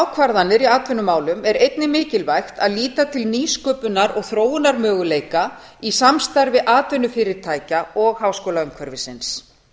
ákvarðanir í atvinnumálum er einnig mikilvægt að líta til nýsköpunar og þróunarmöguleika í samstarfi atvinnufyrirtækja og háskólaumhverfisins